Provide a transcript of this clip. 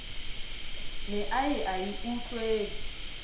ne a ye a utlwele